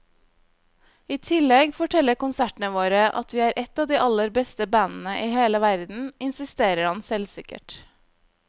I tillegg forteller konsertene våre at vi er et av de aller beste bandene i hele verden, insisterer han selvsikkert.